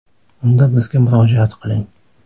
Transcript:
Unda bizga murojaat qiling!